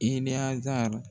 E ni Hazari